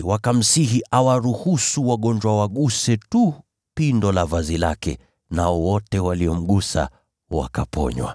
wakamsihi awaruhusu wagonjwa waguse tu pindo la vazi lake, nao wote waliomgusa, wakaponywa.